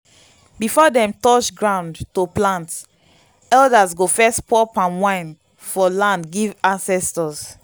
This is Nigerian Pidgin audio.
before dem touch ground to plant elders go first pour palm wine for land give ancestors.